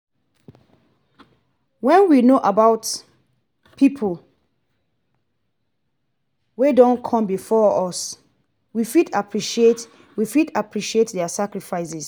when we know about pipo wey don come before us we fit appreciate we fit appreciate their sacrifices